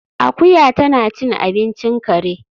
Akuya tana cin abincin kare